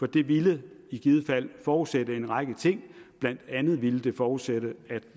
det ville i givet fald forudsætte en række ting blandt andet ville det forudsætte at